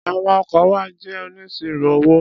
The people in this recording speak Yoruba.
Àwọn ọkọ wa jẹ́ oníṣirò owó.